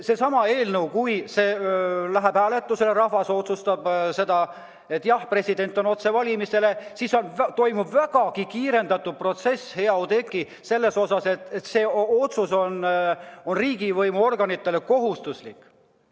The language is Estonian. Seesama eelnõu, kui see läheb hääletusele ja rahvas otsustab, et president valitakse otsevalimisega – siis toimub vägagi kiirendatud protsess, hea Oudekki, selles mõttes, et see otsus on riigivõimu organitele kohustuslik.